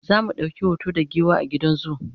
zamu ɗauki hoto da giwa a gidan zoo